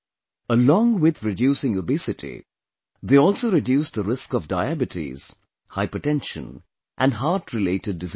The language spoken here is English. Along with reducing obesity, they also reduce the risk of diabetes, hypertension and heart related diseases